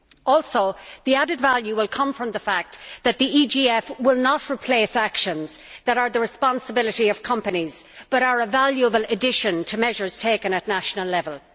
Also, the added value will come from the fact that the EGF will not replace actions that are the responsibility of companies, but are a valuable addition to measures taken at national level.